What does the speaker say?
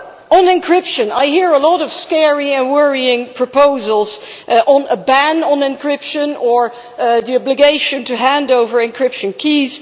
On encryption I hear a lot of scary and worrying proposals about a ban on encryption or the obligation to hand over encryption keys.